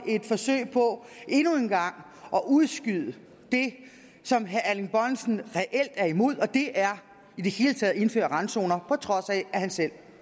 et forsøg på endnu en gang at udskyde det som herre erling bonnesen reelt er imod og det er i det hele taget at indføre randzoner på trods af at han selv